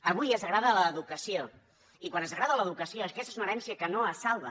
avui es degrada l’educació i quan es degrada l’educació aquesta és una herència que no es salva